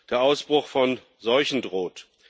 Der Ausbruch von Seuchen droht.